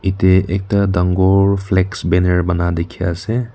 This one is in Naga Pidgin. yate ekta dangor flex banner bana dekhi ase.